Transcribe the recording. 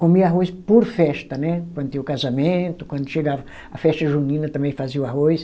Comia arroz por festa, né, quando tinha um casamento, quando chegava a festa junina também fazia o arroz.